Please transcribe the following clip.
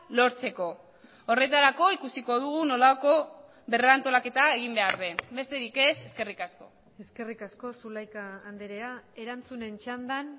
lortzeko horretarako ikusiko dugu nolako berrantolaketa egin behar den besterik ez eskerrik asko eskerrik asko zulaika andrea erantzunen txandan